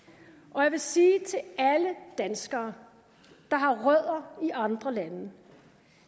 og jeg vil sige til alle danskere der har rødder i andre lande